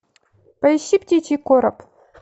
поищи птичий короб